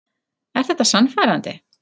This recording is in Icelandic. Er þetta sannfærandi?